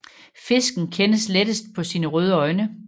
Fisken kendes lettest på sine røde øjne